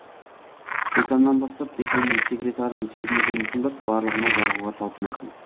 деканнан бастап деканның секретарының сөзіне дейін тыңдап барлығына жағуға талпынасың